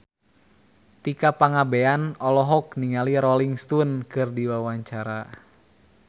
Tika Pangabean olohok ningali Rolling Stone keur diwawancara